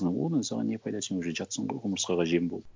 одан саған не пайда сен уже жатырсың ғой құмырсқаға жем болып